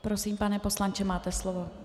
Prosím, pane poslanče, máte slovo.